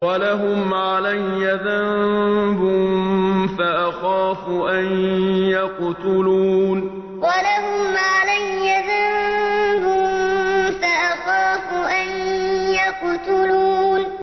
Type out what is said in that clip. وَلَهُمْ عَلَيَّ ذَنبٌ فَأَخَافُ أَن يَقْتُلُونِ وَلَهُمْ عَلَيَّ ذَنبٌ فَأَخَافُ أَن يَقْتُلُونِ